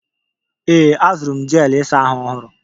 Ee, azụrụ m jel ịsa ahụ ọhụrụ.